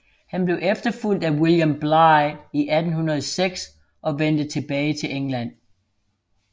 Han blev efterfulgt af William Bligh i 1806 og vendte tilbage til England